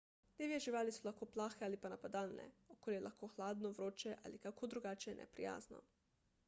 divje živali so lahko plahe ali pa napadalne okolje je lahko hladno vroče ali kako drugače neprijazno